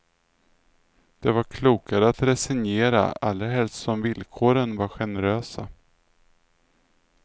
Det var klokare att resignera, allra helst som villkoren var generösa.